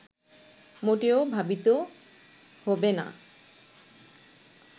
মোটেও ভাবিত হবে না